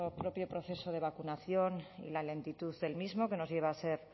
propio proceso de vacunación y la lentitud del mismo que nos lleva a ser